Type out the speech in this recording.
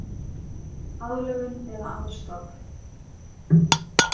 Aðlögun eða aðstoð